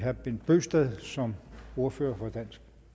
herre bent bøgsted som ordfører for dansk